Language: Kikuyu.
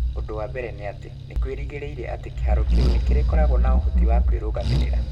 Ũndũ wa mbere nĩ atĩ, nĩ kwĩrĩgĩrĩire atĩ kĩhaaro kĩu nĩ kĩrĩkoragwo na ũhoti wa kwĩrũgamĩrĩra.